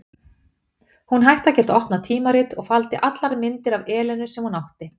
Hún hætti að geta opnað tímarit, og faldi allar myndir af Elenu sem hún átti.